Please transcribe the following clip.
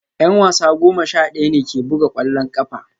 Yan wasa goma sha daya ne ke buga kwallon kafa